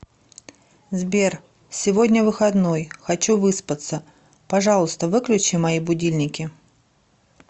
сбер сегодня выходной хочу выспаться пожалуйста выключи мои будильники